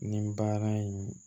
Nin baara in